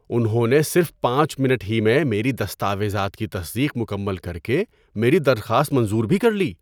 انہوں نے صرف پانچ منٹ ہی میں میری دستاویزات کی تصدیق مکمل کر کے میری درخواست منظور بھی کر لی!